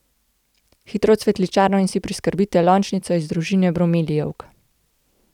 Hitro v cvetličarno in si priskrbite lončnico iz družine bromelijevk.